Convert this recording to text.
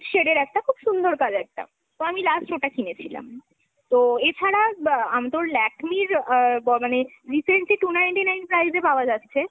shade এর একটা, খুব সুন্দর colour টা। তো আমি last ওটা কিনেছিলাম। তো এছাড়া তোর আ Lakme র মানে recently two ninety-nine price এ পাওয়া যাচ্ছে।